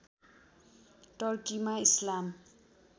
टर्कीमा इस्लाम